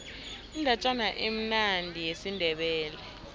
indatjana emnandi yesindebele